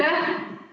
Aitäh!